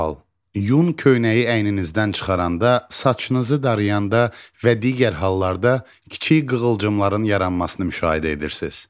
Sual: Yun köynəyi əyninizdən çıxaranda, saçınızı darayanda və digər hallarda kiçik qığılcımların yaranmasını müşahidə edirsiz.